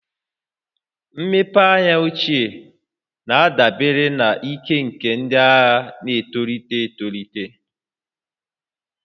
Mmepe anya ochie na-adabere na ike nke ndị agha na-etolite etolite